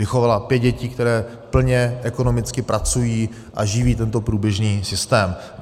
Vychovala pět dětí, které plně ekonomicky pracují a živí tento průběžný systém.